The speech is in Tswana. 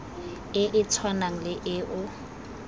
e e tshwanang le eo